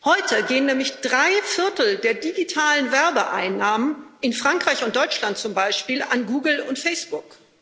Heute gehen nämlich drei Viertel der digitalen Werbeeinnahmen in Frankreich und Deutschland zum Beispiel an Google und Facebook.